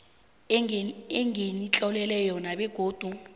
enginitlolele yona begodu